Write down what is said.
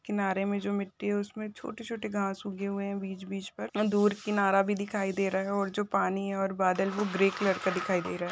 किनारे में जो मिट्टी हैं उसमे छोटे-छोटे घास उगे हुए हैं बीच बीच पर दूर किनारा भी दिखाई दे रहा हैं और जो पानी और बादल हैं वो ग्रे कलर के दिखाई रह--